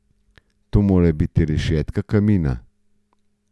To mora biti rešetka kamina.